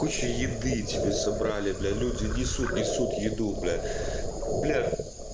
кучу еды тебе собрали бля люди несут несут еду бля бля